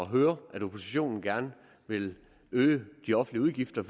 høre at oppositionen gerne vil øge de offentlige udgifter